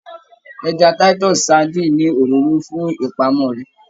Ẹja Titus sardine ni òróró fún ìpamọ rẹ.